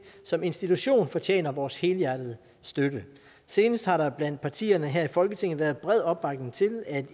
som institution fortjener vores helhjertede støtte senest har der blandt partierne her i folketinget været bred opbakning til at